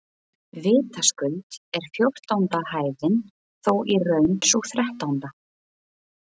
Vitaskuld er fjórtánda hæðin þó í raun sú þrettánda.